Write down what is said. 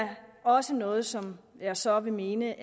også noget som jeg så vil mene